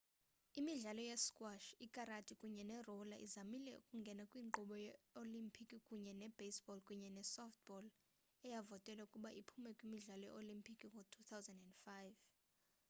imidlalo ye-squash ikarati kunye ne-roller izamile ukungena kwinkqubo ye-olimpiki kunye ne-baseball kunye ne-softball eyavotelwa ukuba iphume kwimidlalo ye-olimpiki ngo-2005